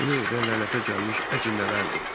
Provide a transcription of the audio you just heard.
Bunu edən lənətə gəlmiş əcinnələrdir.